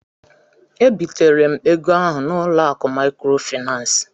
E bitere m ego ahụ n'ụlọ akụ maịkrofaịnans.